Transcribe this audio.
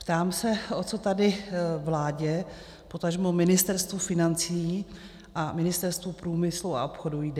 Ptám se, o co tady vládě, potažmo Ministerstvu financí a Ministerstvu průmyslu a obchodu jde.